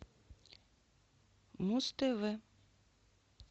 муз тв